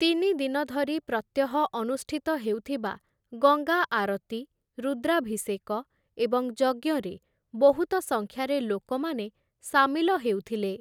ତିନିଦିନ ଧରି ପ୍ରତ୍ୟହ ଅନୁଷ୍ଠିତ ହେଉଥିବା ଗଙ୍ଗା ଆରତୀ, ରୁଦ୍ରାଭିଷେକ ଏବଂ ଯଜ୍ଞରେ ବହୁତ ସଂଖ୍ୟାରେ ଲୋକମାନେ ସାମିଲ ହେଉଥିଲେ ।